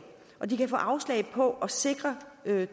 og de kan få afslag på at sikre